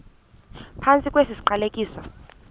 phantsi kwesi siqalekiso